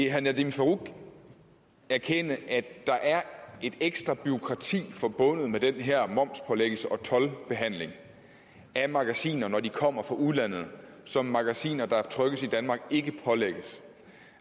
herre nadeem farooq erkende at der er et ekstra bureaukrati forbundet med den her momspålæggelse og toldbehandling af magasiner når de kommer fra udlandet som magasiner der trykkes i danmark ikke pålægges